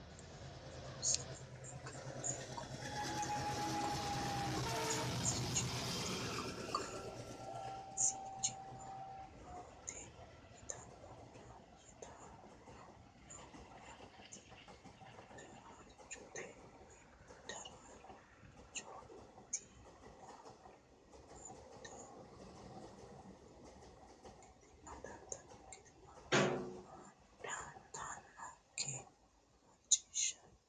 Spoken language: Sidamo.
Loossinanni Qaale Qoonqote Tuqqo qansichimmate qan si chim ma te yitannohuraati yi tan no hu raa ti daraarchootina da raar choo ti na amadantannokki a ma dan tan nok ki macciishshanturo.